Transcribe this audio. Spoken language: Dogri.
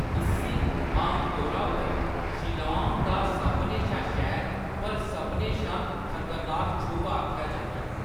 इस्सी आमतौरा पर शिलांग दा सभनें शा शैल पर सभनें शा खतरनाक छुंभ आखेआ जंदा ऐ।